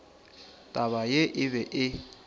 taba ye e be e